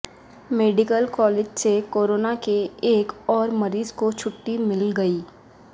medical college سے corona کے ایک اور مریض کو چھٹی مل گئی